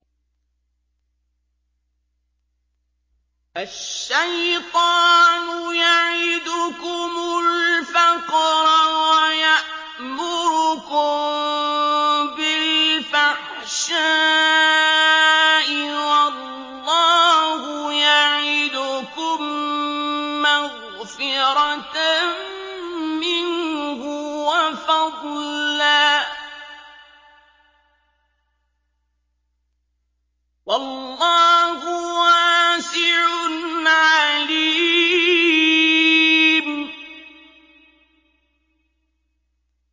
الشَّيْطَانُ يَعِدُكُمُ الْفَقْرَ وَيَأْمُرُكُم بِالْفَحْشَاءِ ۖ وَاللَّهُ يَعِدُكُم مَّغْفِرَةً مِّنْهُ وَفَضْلًا ۗ وَاللَّهُ وَاسِعٌ عَلِيمٌ